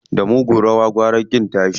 Da mugun rawa gwara ƙin tashi.